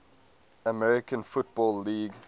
american football league